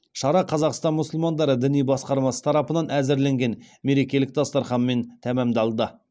шара қазақстан мұсылмандары діни басқармасы тарапынан әзірленген мерекелік дастарханмен тәмамдалды